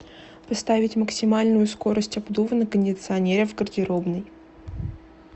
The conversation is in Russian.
поставить максимальную скорость обдува на кондиционере в гардеробной